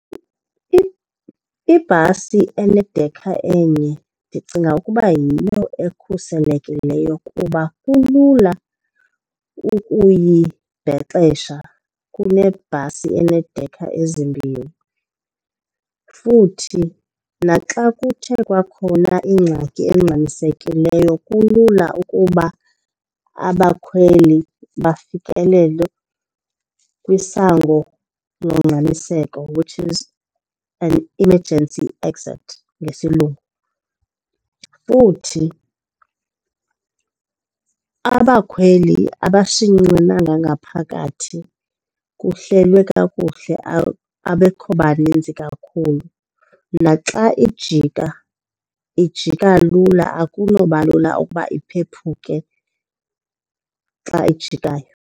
Ibhasi enedekha enye ndicinga ukuba yiyo ekhuselekileyo kuba kulula ukuyibhexesha kunebhasi eneedekha ezimbini. Futhi naxa kuthe kwakhona ingxaki engxamisekileyo kulula ukuba abakhweli bafikelele kwisango longxamiseko, which is an emergency exit ngesilungu. Futhi abakhweli abashinyenanga ngaphakathi, kuhlelwe kakuhle abekho baninzi kakhulu. Naxa ijika ijika lula akunoba lula ukuba iphephuke xa ijikayo.